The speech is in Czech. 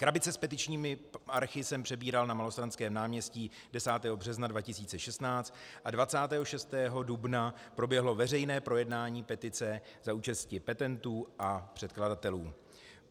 Krabice s petičními archy jsem přebíral na Malostranském náměstí 10. března 2016 a 26. dubna proběhlo veřejné projednání petice za účasti petentů a předkladatelů.